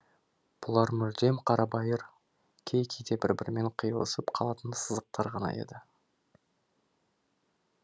бұлар мүлдем қарабайыр кей кейде бір бірімен қиылысып қалатын сызықтар ғана еді